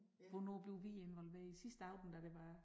Hvornår bliver vi involveret sidste aften da der var